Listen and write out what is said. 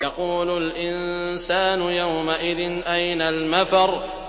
يَقُولُ الْإِنسَانُ يَوْمَئِذٍ أَيْنَ الْمَفَرُّ